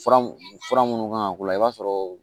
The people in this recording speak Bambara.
Fura fura minnu kan ka k'u la i b'a sɔrɔ